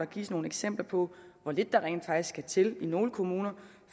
gives nogle eksempler på hvor lidt der rent faktisk skal til i nogle kommuner